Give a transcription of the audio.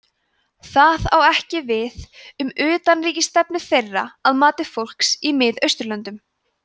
það á ekki við um utanríkisstefnu þeirra að mati fólks í miðausturlöndum